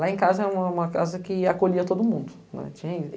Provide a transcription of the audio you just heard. Lá em casa era uma casa que acolhia todo mundo.